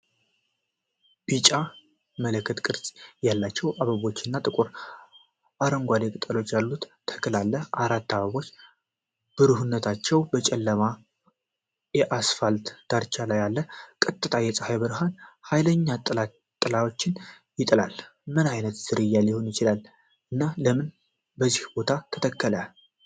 ቢጫ፣ መለከት-ቅርጽ ያላቸው አበቦች እና ጥቁር አረንጓዴ ቅጠሎች ያሉት ተክል አለ። አራት አበቦችብሩህነታቸው በጨለማው የአስፋልት ዳርቻ ላይ አለ። ቀጥተኛ የፀሐይ ብርሃን ኃይለኛ ጥላዎችን ይጥላል። ምን ዓይነት ዝርያ ሊሆን ይችላል እና ለምን በዚያ ቦታ ተተከለ?